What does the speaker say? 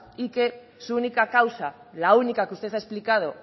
y que su única causa la única que usted ha explicado